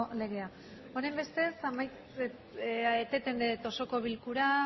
legea honenbestez eteten dut osoko bilkura